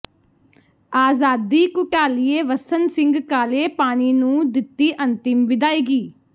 ਆਜ਼ਾਦੀ ਘੁਲਾਟੀਏ ਵੱਸਣ ਸਿੰਘ ਕਾਲੇ ਪਾਣੀ ਨੂੰ ਦਿੱਤੀ ਅੰਤਿਮ ਵਿਦਾਇਗੀ